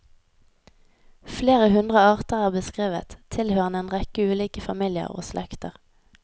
Flere hundre arter er beskrevet, tilhørende en rekke ulike familier og slekter.